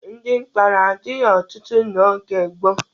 Ndị mkpọrọ adịghị ọtụtụ n'oge gboo.